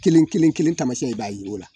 Kelen- kelen-keln taamasiyɛn i b'a ye o la